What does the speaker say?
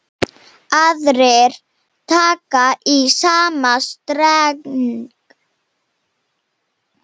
Aðrir taka í sama streng.